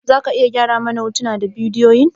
Za ka iya gyara mana hotunan da bidiyoyin?